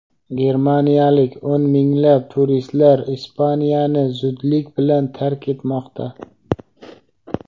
Germaniyalik o‘n minglab turistlar Ispaniyani zudlik bilan tark etmoqda.